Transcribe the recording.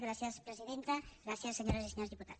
gràcies presidenta gràcies senyores i senyors diputats